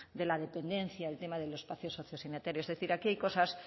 de la dependencia el tema de los espacios sociosanitarios es decir aquí hay cosas